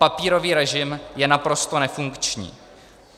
Papírový režim je naprosto nefunkční.